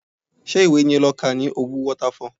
Ṣé ìwé ni o lọ kà ní Òwu Waterfall?